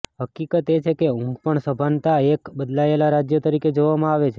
હકીકત એ છે કે ઊંઘ પણ સભાનતા એક બદલાયેલા રાજ્ય તરીકે જોવામાં આવે છે